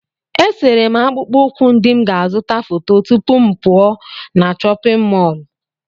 Esere m akpụkpọ ụkwụ ndị m ga-azụta foto tupu m pụọ na chọpịn mọọlụ.